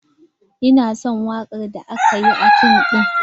Ina son waka da aka yi a fim din.